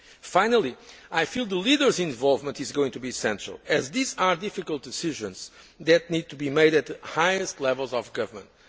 Finally, I feel the leaders' involvement is going to be central as these are difficult decisions that need to be made at highest levels of government.